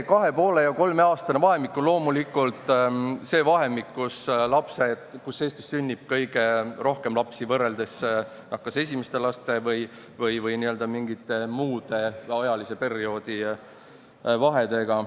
Kahe-poole- ja kolmeaastane vahemik on loomulik see vahemik, kus Eestis sünnib kõige rohkem lapsi võrreldes kas esimeste laste või n-ö mingite muude ajaliste vahedega.